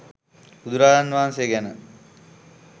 බුදුරජාණන් වහන්සේ ගැන